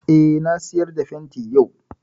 Eh, na sayar da fenti yau